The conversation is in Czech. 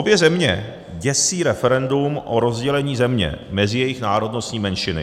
Obě země děsí referendum o rozdělení země mezi jejich národnostní menšiny.